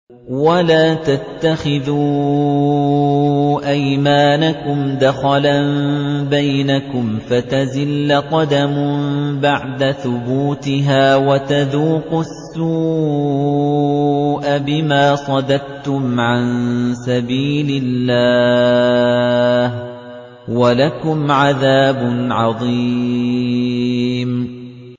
وَلَا تَتَّخِذُوا أَيْمَانَكُمْ دَخَلًا بَيْنَكُمْ فَتَزِلَّ قَدَمٌ بَعْدَ ثُبُوتِهَا وَتَذُوقُوا السُّوءَ بِمَا صَدَدتُّمْ عَن سَبِيلِ اللَّهِ ۖ وَلَكُمْ عَذَابٌ عَظِيمٌ